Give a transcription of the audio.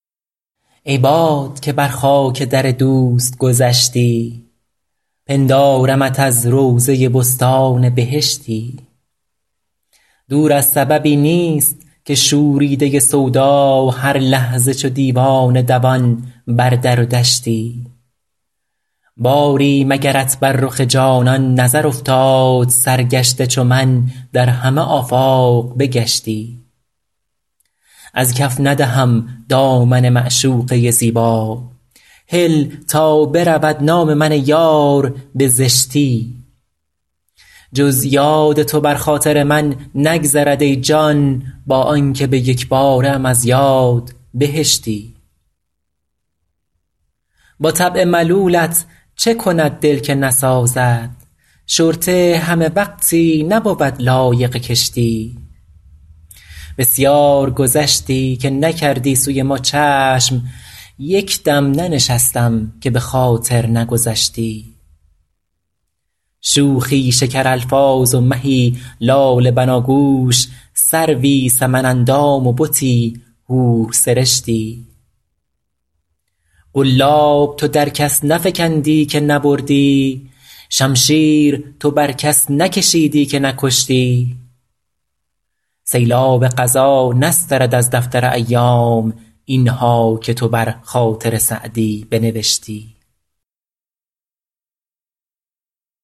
ای باد که بر خاک در دوست گذشتی پندارمت از روضه بستان بهشتی دور از سببی نیست که شوریده سودا هر لحظه چو دیوانه دوان بر در و دشتی باری مگرت بر رخ جانان نظر افتاد سرگشته چو من در همه آفاق بگشتی از کف ندهم دامن معشوقه زیبا هل تا برود نام من ای یار به زشتی جز یاد تو بر خاطر من نگذرد ای جان با آن که به یک باره ام از یاد بهشتی با طبع ملولت چه کند دل که نسازد شرطه همه وقتی نبود لایق کشتی بسیار گذشتی که نکردی سوی ما چشم یک دم ننشستم که به خاطر نگذشتی شوخی شکرالفاظ و مهی لاله بناگوش سروی سمن اندام و بتی حورسرشتی قلاب تو در کس نفکندی که نبردی شمشیر تو بر کس نکشیدی که نکشتی سیلاب قضا نسترد از دفتر ایام این ها که تو بر خاطر سعدی بنوشتی